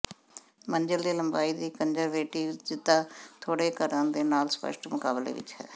ਮੰਜ਼ਿਲ ਦੀ ਲੰਬਾਈ ਦੀ ਕੰਨਜ਼ਰਵੇਟਿਜ਼ਤਾ ਥੋੜੇ ਘਰਾਂ ਦੇ ਨਾਲ ਸਪਸ਼ਟ ਮੁਕਾਬਲੇ ਵਿੱਚ ਹੈ